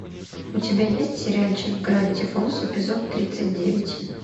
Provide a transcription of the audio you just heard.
у тебя есть сериальчик гравити фолз эпизод тридцать девять